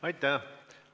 Aitäh!